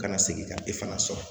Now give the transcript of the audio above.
Kana segin ka e fana sɔrɔ